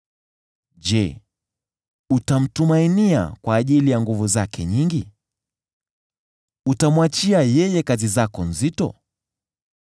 Je, utamtumainia kwa ajili ya nguvu zake nyingi? Utamwachia yeye kazi zako nzito?